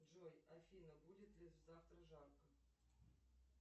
джой афина будет ли завтра жарко